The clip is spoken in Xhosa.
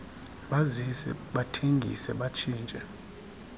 bazise bathengise batshintshe